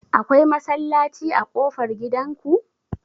Akwai masallaci a ƙofar gidan ku?